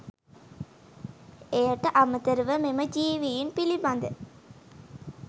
එයට අමතරව මෙම ජීවීන් පිළිබඳ